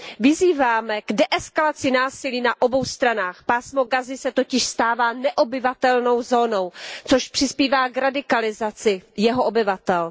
Vyzýváme k deeskalaci násilí na obou stranách, Pásmo Gazy se totiž stává neobyvatelnou zónou, což přispívá k radikalizaci jeho obyvatel.